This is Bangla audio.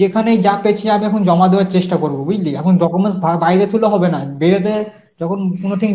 যেখানেই যা পেছি আমি এখন জমা দেয়ার চেষ্টা করব বুঝলি. এখন documents বা~ বাইরে থুলে হবে না যখন